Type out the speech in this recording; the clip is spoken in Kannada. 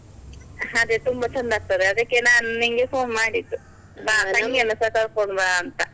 ಅದೇ ತುಂಬಾ ಚಂದ ಆಗ್ತದೆ, ಅದಕ್ಕೆ ನಾನ್ ನಿಂಗೆ phone ಮಾಡಿದ್ದು ಕರ್ಕೊಂಡು ಬಾ ಅಂತ.